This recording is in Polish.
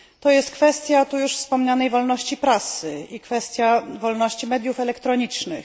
Jest to kwestia już tu wspomnianej wolności prasy i kwestia wolności mediów elektronicznych.